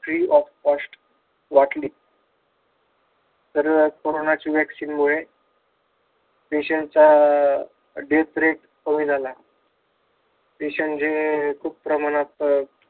Free of cost वाटली. तर कोरोनाची vaccine मुळे patient चा death rate कमी झाला. जे खूप प्रमाणात अं